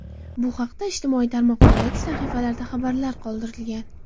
Bu haqda ijtimoiy tarmoqlardagi sahifalarda xabarlar qoldirilgan .